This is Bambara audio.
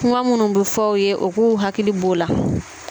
Kuma minnu bɛ fɔ u ye u k'u hakili bɔ o la